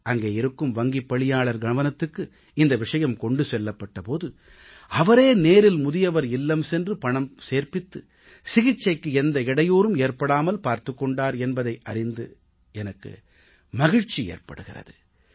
அங்கே இருக்கும் வங்கிப் பணியாளர் கவனத்துக்கு இந்த விஷயம் கொண்டு செல்லப்பட்ட போது அவரே நேரில் முதியவர் இல்லம் சென்று பணத்தை சேர்ப்பித்து சிகிச்சைக்கு எந்த இடையூறும் ஏற்படாமல் பார்த்துக் கொண்டார் என்பதை அறிந்து எனக்கு மகிழ்ச்சி ஏற்படுகிறது